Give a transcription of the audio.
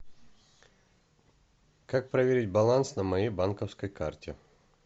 как проверить баланс на моей банковской карте